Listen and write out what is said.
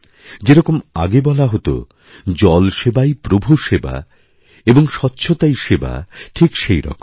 যেরকম আগে বলা হত জল সেবাই প্রভু সেবা এবং স্বচ্ছতাই সেবা ঠিক সেইরকম